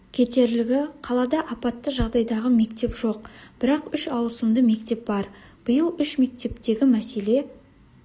кетерлігі қалада апатты жағдайдағы мектеп жоқ бірақ үш ауысымды мектеп бар биыл үш мектептегі мәселе